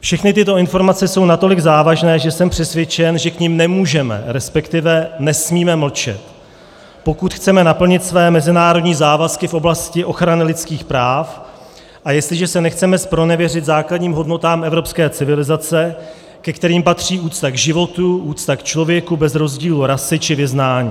Všechny tyto informace jsou natolik závažné, že jsem přesvědčen, že k nim nemůžeme, respektive nesmíme mlčet, pokud chceme naplnit své mezinárodní závazky v oblasti ochrany lidských práv a jestliže se nechceme zpronevěřit základním hodnotám evropské civilizace, ke kterým patří úcta k životu, úcta k člověku bez rozdílu rasy či vyznání.